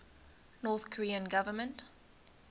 north korean government